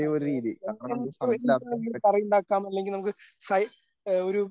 അതെ അതെ എന്ത് എന്ത് എന്തെങ്കിലും സൈ ഒരു